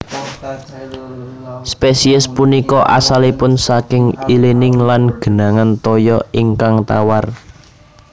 Spesiès punika asalipun saking ilining lan genangan toya ingkang tawar